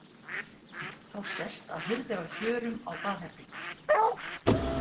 Þá sést að hurð er á hjörum á baðherbergi.